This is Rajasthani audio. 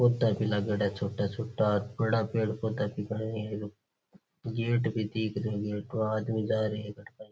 पौधा भी लाग्योड़ा है छोटा छोटा और बड़ा पेड़-पौधा जिका है नी गेट भी दिख रियो है उठूँ आदमी जा रिया है।